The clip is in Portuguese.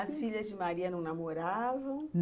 As filhas de Maria não namoravam...? Não!